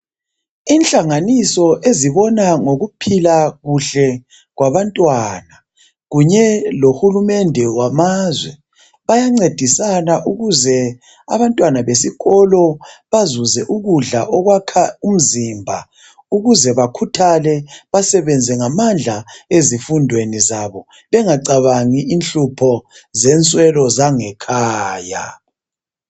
Inhlanganiso ezibona ngokuphila kuhle kwabantwana kunye lohulumende wamazwe, bayancedisana ukuze abantwana besikolo bazuze ukudla okwakha umzimba ukuze bakhuthale, basebenze ngamandla ezifundweni zabo bengacabangi inhlupho zenswelo zangekhaya.